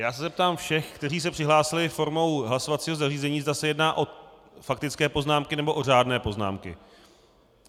Já se zeptám všech, kteří se přihlásili formou hlasovacího zařízení, zda se jedná o faktické poznámky, nebo o řádné poznámky.